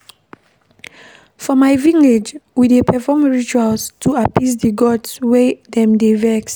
For my village, we dey perform rituals to appease di gods wen dem dey vex.